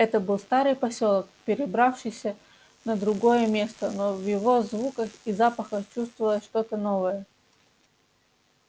это был старый посёлок перебравшийся на другое место но в его звуках и запахах чувствовалось что то новое